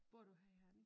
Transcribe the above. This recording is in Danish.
Bor du her i Herning?